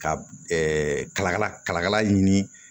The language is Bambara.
Ka kalakala kala ɲini